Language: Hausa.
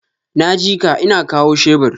Naji ka, ina kawo shebur.